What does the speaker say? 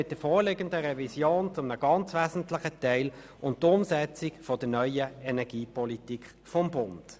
Mit der vorliegenden Revision geht es zu einem sehr wesentlichen Teil um die Umsetzung der neuen Energiepolitik des Bundes.